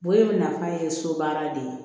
Bonɲɛ in nafa ye so baara de ye